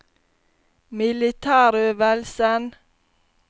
militærøvelsen